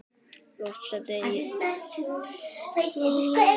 Loft steypt yfir forsal.